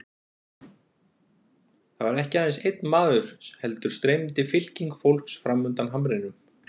Þarna var ekki aðeins einn maður heldur streymdi fylking fólks framundan hamrinum.